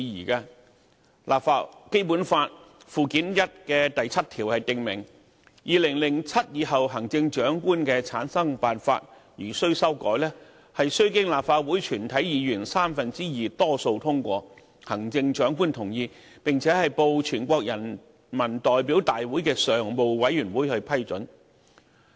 《基本法》附件一的第七條訂明，"二○○七年以後各任行政長官的產生辦法如需修改，須經立法會全體議員三分之二多數通過，行政長官同意，並報全國人民代表大會常務委員會批准。